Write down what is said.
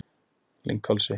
Lynghálsi